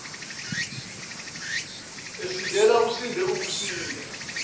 esindile usinde ukusinda